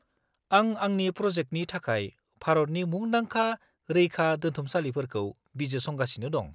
-आं आंनि प्रजेक्टनि थाखाय भारतनि मुंदांखा रैखादोन्थुमसालिफोरखौ बिजिरसंगासिनो दं।